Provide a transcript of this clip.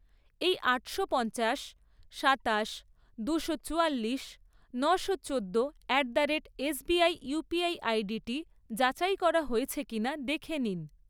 এই আটশো পঞ্চাশ, সাতাশ, দুশো চুয়াল্লিশ, নশো চোদ্দো at the rate SBI UPI আইডিটি যাচাই করা হয়েছে কিনা দেখে নিন।